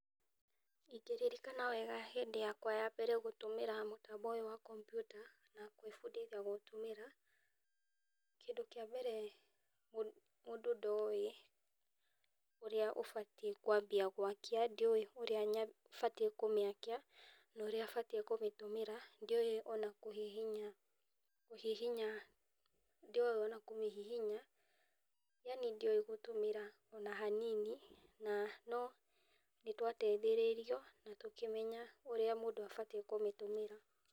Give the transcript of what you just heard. Ingĩririkana wega hĩndĩ yakwa ya mbere gũtũmĩra mũtambo ũyũ wa kompiuta na gwĩbundithia kũũtũmĩra, kĩndũ kĩa mbere, mũndũ ndoĩ ũrĩa ũbatiĩ kwambia gwakia, ndioĩ ũrĩa batiĩ na ũrĩa batiĩ kũmĩtũmĩra, ndioĩ ona kũmĩhihinya, ndio kũhihinya, yani ndioĩ kũmĩtĩmĩra ona hanini na no nĩ twateithĩrĩirwo na tũkĩmenya ũrĩa mũndũ abatiĩ kũmĩtũmĩra